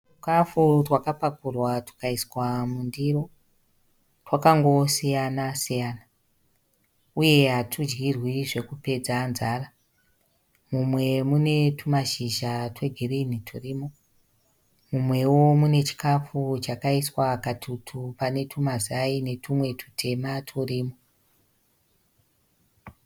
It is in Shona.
Twuchikafu twakapakurwa twukaiswa mundiro. Twakangosiyana siyana uye hatudyirwi zvekupedza nzara. Mumwe mune tumashizha twegirinhi twurimo. Mumwewo mune chikafu chakaiswa katutu pane twumazai netwumwe tutema twurimo.